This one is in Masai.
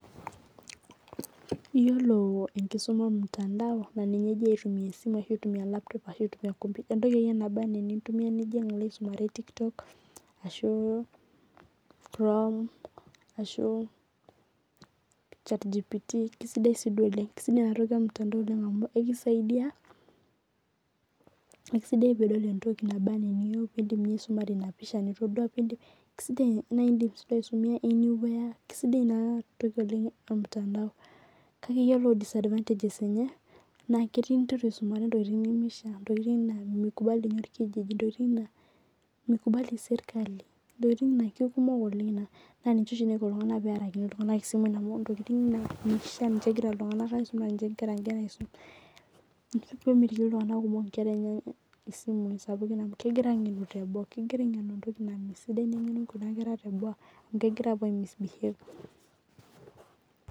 Iyiolo enkisuma ormutandao na ninye egirai aitumia esimu ashu laptop, ashu nkomputa entoki ake iyie naba ana enintumia nijing alo aisumare ashu tiktok ashu chrome ashu chatgpt kesida nadi oleng ,kesidai enatoki ormutandao amu ekusaidia akisaidia peitum antoki naba ana eniyiou ekisaidia pisumare inapisha nitadua kisidai na indim nye aitumia[cs[ anywhere kesidai oleng inatoki ormutandao kake ore disadvantages enye na keti indim aisumare ntokitin nimishaa ntokitin na mikubali orkijiji lingua ntokitin na kekumok oleng na ninche oshi naiko ltunganak pearakini simui amu ntokitin na ninche egira ltunganak aisumare ina pemitiki ltunganak kumok nkera enye isimui amu kegira angenubteboo kegira atumbesidai nengenu kuna kera teboo amu kegira apuo aismisbehave